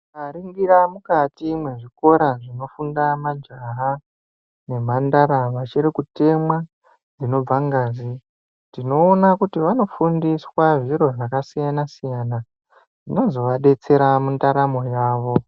Tikaringira mukati mwezvikora zvinofunda majaha nemhandara vachirikutemwa dzinobve ngazi. Tinoona kuti vanofundiswa zviro zvakasiyana-siyana zvinozovadetsera mundaramo yavo.